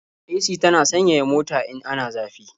AC tana sanyaya mota in ana zafi.